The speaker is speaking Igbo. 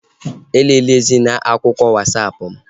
E lelezina akụkọ Wasapụ mụ!